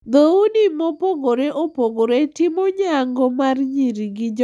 Dhoudi mopogore opogore timo nyango mar nyiri gi jomachwo.